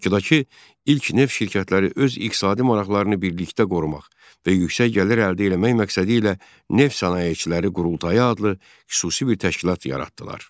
Bakıdakı ilk neft şirkətləri öz iqtisadi maraqlarını birlikdə qorumaq və yüksək gəlir əldə eləmək məqsədi ilə Neft Sənayeçiləri Qurultayı adlı xüsusi bir təşkilat yaratdılar.